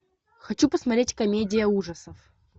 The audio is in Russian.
хочу посмотреть комедия ужасов